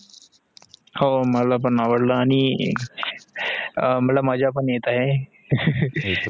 हो मला पण आवडलं आणी मला मजा पण येत आहे